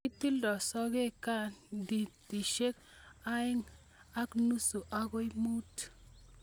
kitildoi sogek cendimitaishek aeng ak nusu agoi mut